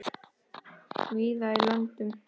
víða í löndum